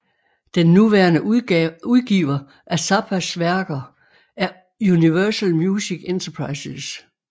Den nuværende udgiver af Zappas værker er Universal Music Enterprises